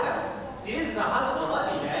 Siz rahat ola bilərsiniz.